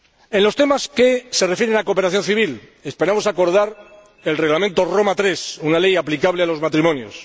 En los temas que se refieren a cooperación civil, esperamos acordar el Reglamento Roma III, una ley aplicable a los matrimonios.